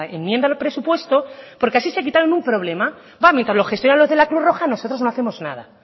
enmienda al presupuesto porque así se quitaron un problema mientras lo gestionan los de la cruz roja nosotros no hacemos nada